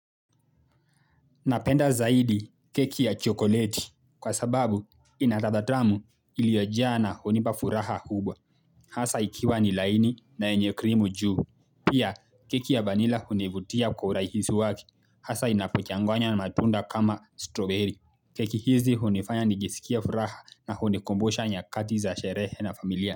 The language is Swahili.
Napenda zaidi keki ya chokoleti kwa sababu inaladhaa tamu iliyojaa na hunipa furaha kubwa hasa ikiwa ni laini na yenye krimu juu. Pia keki ya vanila hunivutia kwa urahisi wake, hasa inapochanganywa na matunda kama stroberi. Keki hizi hunifanya nijisikie furaha na unikumbusha nyakati za sherehe na familia.